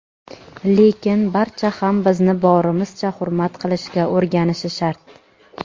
lekin barcha ham bizni borimizcha hurmat qilishga o‘rganishi shart!.